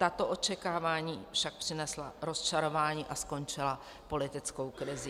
Tato očekávání však přinesla rozčarování a skončila politickou krizí.